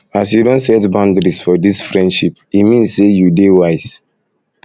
as you don set boudaries for dis friendship e mean sey you dey wise